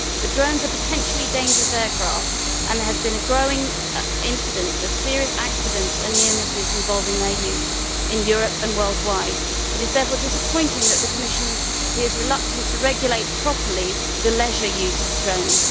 However, drones are potentially dangerous aircraft, and there has been a growing incidence of serious accidents and near misses involving their use in Europe and worldwide. It is therefore disappointing that the Commission appears reluctant to regulate properly the leisure use of drones.